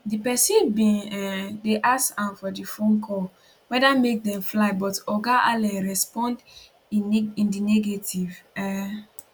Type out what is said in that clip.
di pesin bin um dey ask am for di phone call weda make dem fly but oga allen respond in di negative um